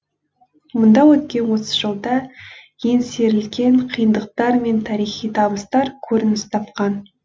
мұнда өткен отыз жылда еңсерілген қиындықтар мен тарихи табыстар көрініс тапқан